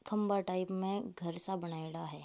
खम्बा टाइप में घर सा बनायोड़ा है।